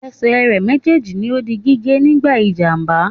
Esè re méjèèjì ni o di gígé nígbà ìjàmbá